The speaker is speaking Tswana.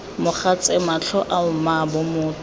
mogatse matlho ao mmaabo motho